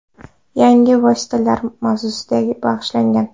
Yangi vositalar” mavzusiga bag‘ishlangan.